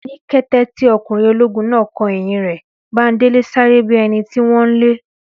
Ní kété tí ọkùnrin ológun náà kò ẹ̀yìn rẹ̀, Bándélé sáré bíi ẹnití wón nlé